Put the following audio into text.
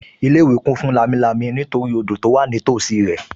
Ilé-ìwé kún fún lámilámi nítorí odò tó wà nítòsí rẹ̀